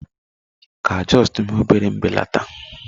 Ị ka justuu mee obere mbelata?